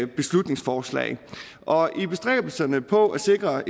beslutningsforslag og i bestræbelserne på at sikre